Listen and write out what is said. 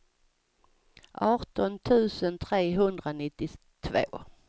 arton tusen trehundranittiotvå